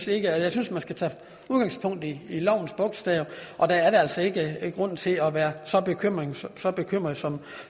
jeg synes man skal tage udgangspunkt i lovens bogstav der er altså ikke grund til at være så bekymret som